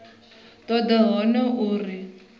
toda u ita yone uri